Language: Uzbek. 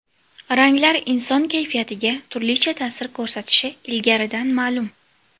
Ranglar inson kayfiyatiga turlicha ta’sir ko‘rsatishi ilgaridan ma’lum.